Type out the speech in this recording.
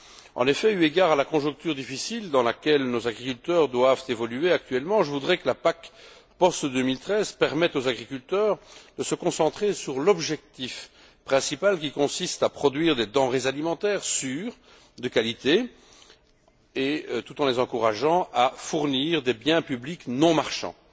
En effet, eu égard à la conjoncture difficile dans laquelle nos agriculteurs doivent évoluer actuellement, je voudrais que la PAC après 2013 permette aux agriculteurs de se concentrer sur l'objectif principal qui consiste à produire des denrées alimentaires sûres, de qualité, tout en les encourageant à fournir des biens publics non marchands.